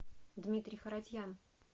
дмитрий харатьян